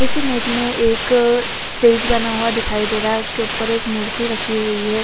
इस इमेज में एक अ स्टेज बना हुआ दिखाई दे रहा है उसके ऊपर एक मूर्ति रखी हुई है।